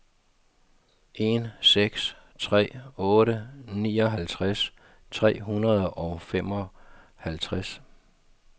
en seks tre otte nioghalvtreds tre hundrede og femoghalvtreds